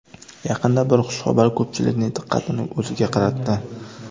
Yaqinda bir xushxabar ko‘pchilikning diqqatini o‘ziga qaratdi.